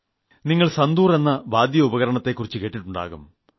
നിങ്ങൾ സന്തൂർ എന്ന വാദ്യോപകരണത്തെക്കുറിച്ച് കേട്ടിട്ടുണ്ടാവും